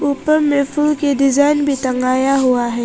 ऊपर में फूल के डिजाइन भी टंगाया हुआ है।